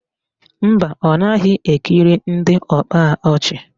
Mba, ọ naghị ekiri ndị ọkpa ọchị